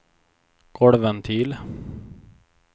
golvventil